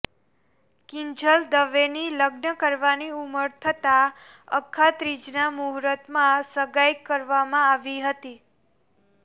કિંજલ દવેની લગ્ન કરવાની ઉંમર થતાં અખાત્રીજના મૂહુર્તમાં સગાઈ કરવામાં આવી હતી